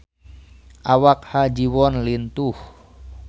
Awak Ha Ji Won lintuh